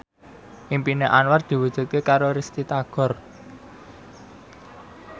impine Anwar diwujudke karo Risty Tagor